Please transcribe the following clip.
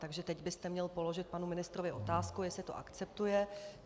Takže teď byste měl položit panu ministrovi otázku, jestli to akceptuje.